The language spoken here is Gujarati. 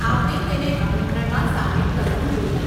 આપણે તેને આમંત્રણમાં સામેલ કરવું જોઈએ.